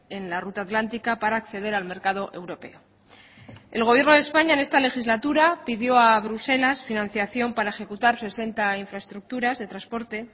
en la ruta atlántica para acceder al mercado europeo el gobierno de españa en esta legislatura pidió a bruselas financiación para ejecutar sesenta infraestructuras de transporte